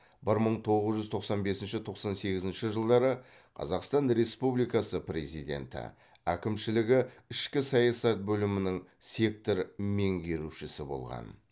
бір мың тоғыз жүз тоқсан бесінші тоқсан сегізінші жылдары қазақстан республикасы президенті әкімшілігі ішкі саясат бөлімінің сектор меңгерушісі болған